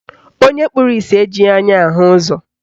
Onye kpụrụ isi ejighị anya ahụ ụzọ